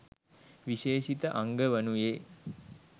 විශේෂිත අංග වනුයේ